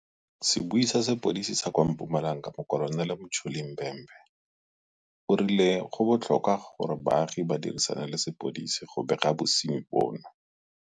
Sebui sa sepodisi sa kwa Mpumalanga Mokolonele Mtsholi Bhembe o rile go botlhokwa gore baagi ba dirisane le sepodisi le go bega bosenyi jono.